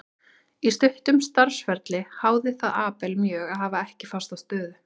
Á stuttum starfsferli háði það Abel mjög að hafa ekki fasta stöðu.